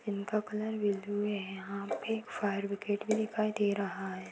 इनका colour blue है यहाँ पे फायर ब्रिगेड भी दिखाई दे रहा है।